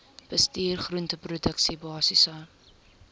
bestuur groenteproduksie basiese